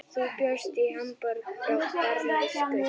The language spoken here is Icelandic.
Þú bjóst í Hamborg frá barnæsku.